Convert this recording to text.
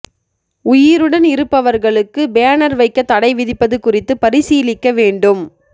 உயிருடன் இருப்பவா்களுக்கு பேனா் வைக்க தடை விதிப்பது குறித்து பரிசீலிக்க வேண்டும்